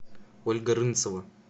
ольга рынцева